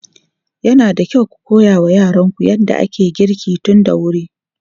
Yana da kyau ku koya wa yaranku yadda ake girki tun da wuri.